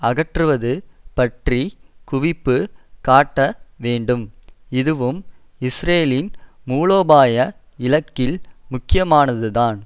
அகற்றுவது பற்றி குவிப்பு காட்ட வேண்டும் இதுவும் இஸ்ரேலின் மூலோபாய இலக்கில் முக்கியமானதுதான்